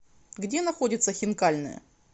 где находится хинкальная